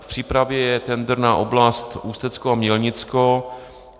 V přípravě je tendr na oblast Ústecko a Mělnicko.